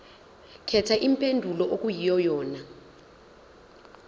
khetha impendulo okuyiyona